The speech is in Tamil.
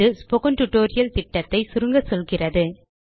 இது ஸ்போக்கன் டியூட்டோரியல் திட்டத்தை சுருங்க சொல்கிறது